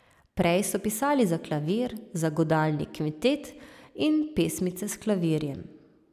Prej so pisali za klavir, za godalni kvintet in pesmice s klavirjem.